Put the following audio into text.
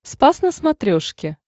спас на смотрешке